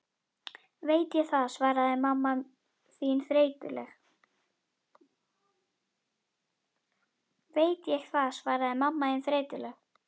Veit ég það, svaraði mamma þín þreytulega.